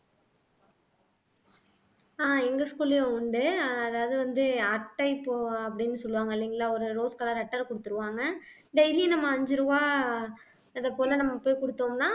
ஆஹ் எங்க school லயும் உண்டு அதாவது வந்து அட்டை போ அப்படின்னு சொல்லுவாங்க இல்லைங்களா ஒரு rose color clutter குடுத்துருவாங்க daily நம்ம அஞ்சு ரூபாய் அது போல நம்ம போய் குடுத்தோம்ன்னா